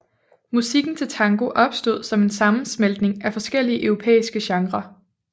Musikken til tango opstod som en sammensmeltning af forskellige europæiske genrer